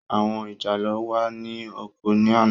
Àwọn ìjàlọ́ wà ní oko ní àná.